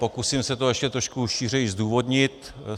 Pokusím se to ještě trošku šířeji zdůvodnit.